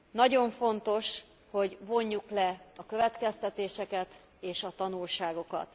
Nagyon fontos, hogy vonjuk le a következtetéseket és a tanulságokat.